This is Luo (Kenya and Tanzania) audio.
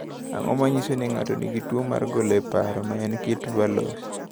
Ang’o ma nyiso ni ng’ato nigi tuwo mar ng’ol e paro, ma en kit Verloes?